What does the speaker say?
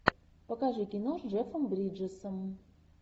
покажи кино с джеффом бриджесом